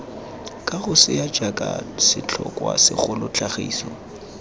kagosea jaaka setlhokwa segolo tlhagiso